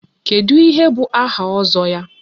Kedụ ihe bụ áhà Ozo ya?